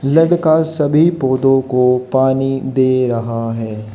लड़का सभी पौधों को पानी दे रहा है।